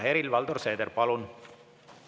Helir-Valdor Seeder, palun!